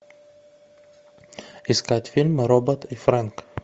искать фильм робот и фрэнк